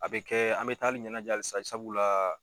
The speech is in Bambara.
A bɛ kɛ an bɛ taa halisa sabula